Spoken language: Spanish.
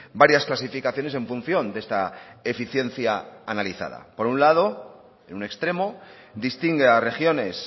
varias clasificaciones en función de esta eficiencia analizada por un lado en un extremo distingue a regiones